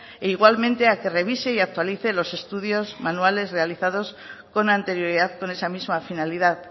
e igualmente a que revise y actualice los estudios manuales realizados con anterioridad con esa misma finalidad